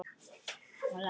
Og læsir.